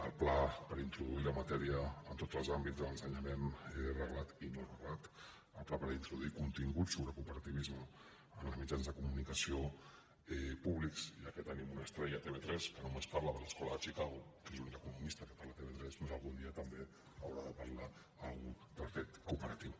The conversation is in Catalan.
el pla per introduir la matèria en tots els àmbits de l’ensenyament reglat i no reglat apte per introduir continguts sobre cooperativisme en els mitjans de comunicació públics ja que tenim una estrella a tv3 que només parla de l’escola de chicago que és l’únic economista que parla a tv3 doncs algun dia també haurà de parlar algú del fet cooperatiu